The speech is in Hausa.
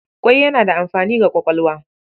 Ƙwai yana da amfani ga kwakwalwa.